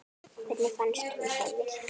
Hvernig fannst honum það virka?